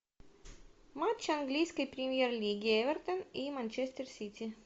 матч английской премьер лиги эвертон и манчестер сити